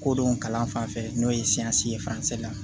Kodɔn kalan fan fɛ n'o ye ye fansi la